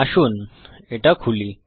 আসুন এটা খুলি